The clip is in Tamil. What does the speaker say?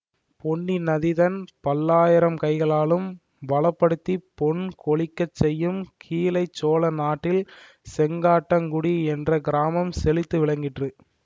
பொன்னி நதி தன் பல்லாயிரம் கைகளாலும் வளப்படுத்திப் பொன் கொழிக்கச் செய்யும் கீழை சோழ நாட்டில் செங்காட்டங்குடி என்ற கிராமம் செழித்து விளங்கிற்று